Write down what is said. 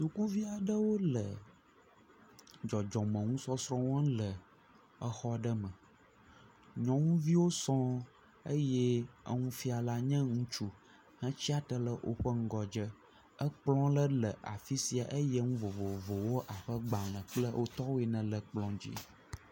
Sukuvi aɖewo le dɔdzɔme nusɔsrɔ̃ wɔm le exɔ me. Nyɔnuviwo sɔŋ eye enufiala nye ŋutsu hetsiatre ɖe woƒe ŋgɔdze. Ekplɔ aɖe le afi sia eye enu vovovowo abe gbale kple wo tɔwo ene le ekplɔ dzi.